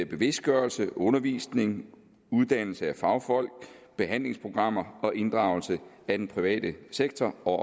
bevidstgørelse undervisning uddannelse af fagfolk behandlingsprogrammer og inddragelse af den private sektor og